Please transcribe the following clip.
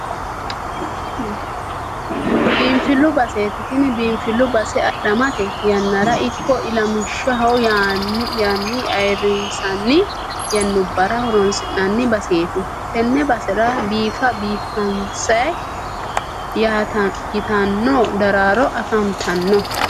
Biinfillu baseeti tini biinfillu base adhamate yannara ikko ilamishshu yyaan ayiirrinsanni yannubbara horoonsi'nanni baseeti. Tenne basera biifa biifaansi yitanno daraaro afantanno.